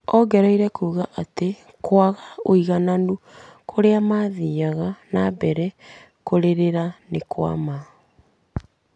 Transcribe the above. Ongereire kuuga atĩ kwaga ũigananu kũrĩa mathiaga na mbere kũrĩrĩra nĩ kwa ma.